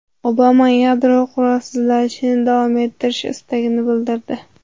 Obama yadro qurolsizlanishini davom ettirish istagini bildirdi.